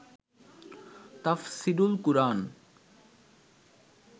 তাফসীরুল কুরআন